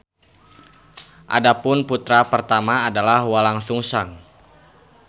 Adapun putra pertama adalah Walangsungsang.